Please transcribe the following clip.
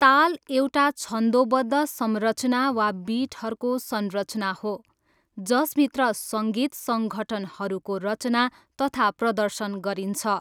ताल एउटा छन्दोबद्ध संरचना वा बिटहरूको संरचना हो, जसभित्र सङ्गीत सङ्घटनहरूको रचना तथा प्रदर्शन गरिन्छ।